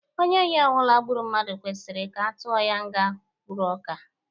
Onye ohi ọbụla gburu mmadụ kwesịrị ka atụọ ya nga mkpụrụ ọka.